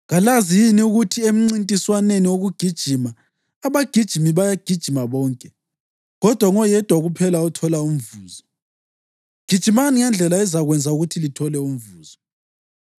Kalazi yini ukuthi emncintiswaneni wokugijima abagijimi bayagijima bonke, kodwa ngoyedwa kuphela othola umvuzo? Gijimani ngendlela ezakwenza ukuthi lithole umvuzo.